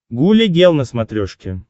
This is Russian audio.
гуля гел на смотрешке